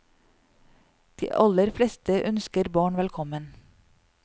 De aller fleste ønsker barn velkommen.